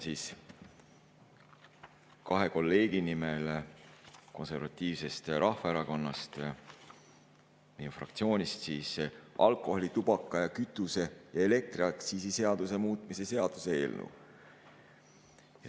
Esitan koos kolleegiga Konservatiivsest Rahvaerakonnast, meie fraktsioonist, alkoholi‑, tubaka‑, kütuse‑ ja elektriaktsiisi seaduse muutmise seaduse eelnõu.